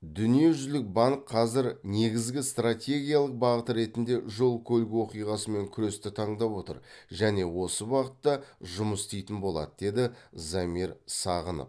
дүниежүзілік банк қазір негізгі стратегиялық бағыт ретінде жол көлік оқиғасымен күресті таңдап отыр және осы бағытта жұмыс істейтін болады деді замир сағынов